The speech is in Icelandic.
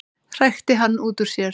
hrækti hann út úr sér.